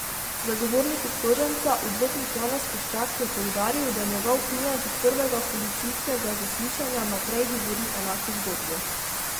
Zagovornik obtoženca, odvetnik Janez Koščak, je poudaril, da njegov klient od prvega policijskega zaslišanja naprej govori enako zgodbo.